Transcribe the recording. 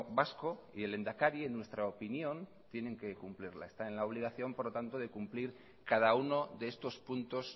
vasco y el lehendakari en nuestra opinión tienen que cumplirla está en la obligación por lo tanto de cumplir cada uno de estos puntos